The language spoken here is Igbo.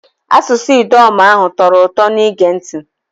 Asụsụ Idoma ahu tọrọ ụtọ n'ige ntị.